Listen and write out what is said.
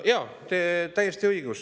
Jaa, teil on täiesti õigus.